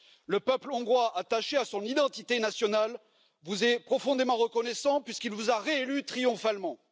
Le peuple hongrois, attaché à son identité nationale, vous est profondément reconnaissant puisqu'il vous a réélu triomphalement.